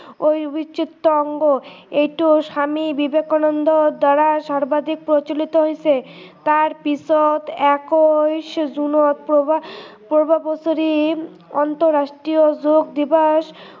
অবিচ্ছেদ্য অংগ এইটো স্ৱামী বিবেকানন্দ দ্ৱাৰা সৰ্বাধিক প্ৰচলিত হৈছে তাৰ পিছত একৈছ জুনত প্ৰ প্ৰত্য়েক বছৰি আন্তৰাষ্ট্ৰীয় যোগ দিৱস